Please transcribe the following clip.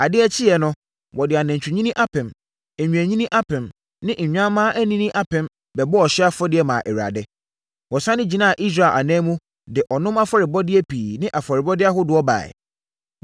Adeɛ kyeeɛ no, wɔde anantwinini apem, nnwennini apem ne nnwanmmaa anini apem bɛbɔɔ ɔhyeɛ afɔdeɛ maa Awurade. Wɔsane gyinaa Israel ananmu, de ɔnom afɔrebɔdeɛ pii ne afɔrebɔdeɛ ahodoɔ baeɛ.